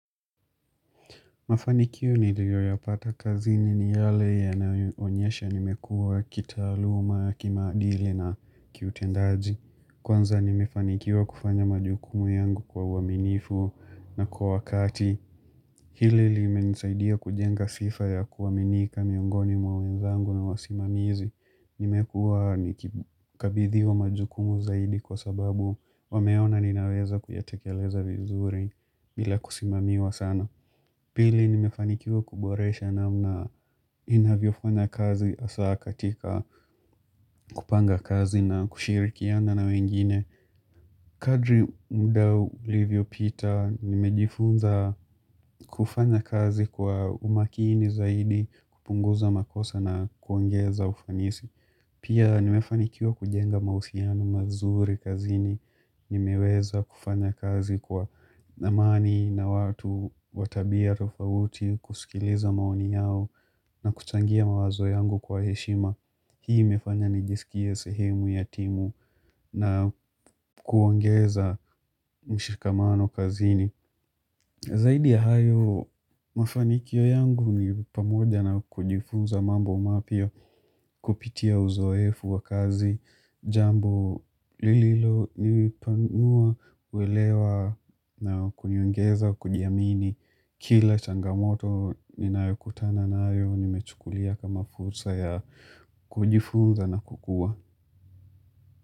Mafanikio niliyoyapata kazini ni yale yanayoonyesha nimekua kitaaluma, kimaadili na kiutendaji. Kwanza nimefanikiwa kufanya majukumu yangu kwa uaminifu na kwa wakati. Hili limenisaidia kujenga sifa ya kuaminika miongoni mwa wenzangu na wasimamizi. Nimekuwa nikikabidhiwa majukumu zaidi kwa sababu wameona ninaweza kuyatekeleza vizuri bila kusimamiwa sana. Pili nimefanikiwa kuboresha namna ninavyofanya kazi hasaa katika kupanga kazi na kushirikiana na wengine. Kadri muda ulivyopitaa nimejifunza kufanya kazi kwa umakini zaidi kupunguza makosa na kuongeza ufanisi. Pia nimefanikiwa kujenga mahusiano mazuri kazini, nimeweza kufanya kazi kwa amani na watu wa tabia tofauti, kusikiliza maoni yao na kuchangia mawazo yangu kwa heshima. Hii imefanya nijisikie sehemu ya timu na kuongeza mshikamano kazini. Zaidi ya hayo, mafanikio yangu ni pamoja na kujifunza mambo mapya kupitia uzoefu wa kazi, jambo lililo uelewa na kuniongeza, kujiamini, kila changamoto ninayokutana na nayo, nimechukulia kama fursa ya kujifunza na kukua.